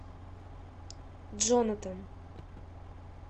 джонатан